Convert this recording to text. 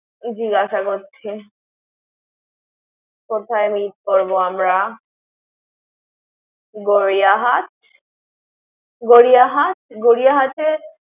জিজ্ঞাসা করছি কোথায় meet করবো আমরা গড়িয়াহাট?